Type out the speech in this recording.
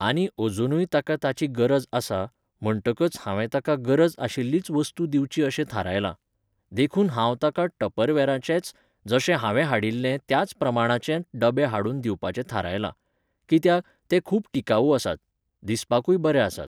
आनी अजुनूय ताका ताची गरज आसा, म्हणटकच हांवें ताका गरज आशिल्लीच वस्तू दिवची अशें थारायलां. देखून हांव ताका टपरवेराचेच, जशें हांवें हाडिल्ले त्याच प्रमाणाचे डबे हाडून दिवपाचें थारायलां. कित्याक, ते खूब टिकावू आसात. दिसपाकूय बरे आसात.